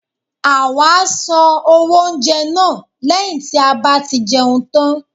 awa à sán owo oúnjẹ na, leyín ti a ba ti jeún tan